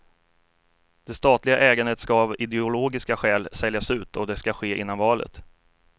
Det statliga ägandet ska av ideologiska skäl säljas ut och det ska ske innan valet.